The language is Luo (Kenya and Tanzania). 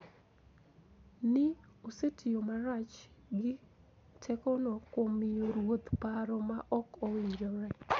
Ni osetiyo marach gi tekone kuom miyo ruoth paro ma ok owinjore